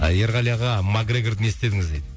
ерғали аға макгрегорды не істедіңіз дейді